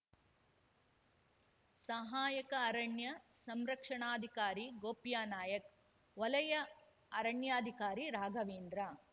ಸಹಾಯಕ ಅರಣ್ಯ ಸಂರಕ್ಷಣಾಧಿಕಾರಿ ಗೋಪ್ಯಾನಾಯ್ಕವಲಯ ಅರಣ್ಯಾಧಿಕಾರಿ ರಾಘವೇಂದ್ರ